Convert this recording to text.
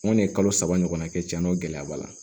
N kɔni ye kalo saba ɲɔgɔnna kɛ tiɲɛ na o gɛlɛya b'a la